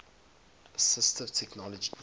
assistive technology